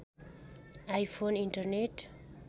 iPhone internet